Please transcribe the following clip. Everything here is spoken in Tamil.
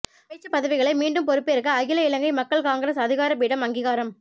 அமைச்சு பதவிகளை மீண்டும் பொறுப்பேற்க அகில இலங்கை மக்கள் காங்கிரஸ் அதிகார பீடம் அங்கீகாரம்